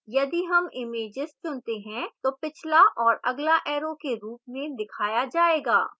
यदि हम images चुनते हैं तो पिछला और अगला arrows के रूप में दिखाया जाएगा